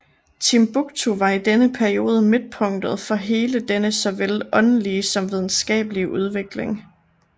Timbuktu var i denne periode midtpunktet for hele denne såvel åndelige som videnskabelige udvikling